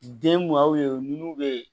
Den mun y'a ye o nun be